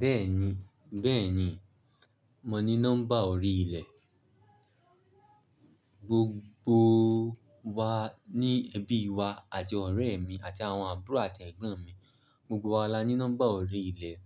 Bẹ́ẹ̀ni, bẹ́ẹ̀ni, mo ní nọ́mbà orí ilẹ̀. Gbogbo wa ní ẹbí wa àti ọ̀rẹ́ mi àti àwọn àbúrò àti ẹ̀gbọ́n mi, gbogbo wa la ní nọ́mbà orí ilẹ̀,